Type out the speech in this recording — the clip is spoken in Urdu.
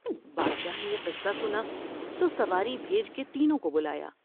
بادشاہ نے یہ قصہ سنا تو سواری بھیج کے تینوں کو بلایا ۔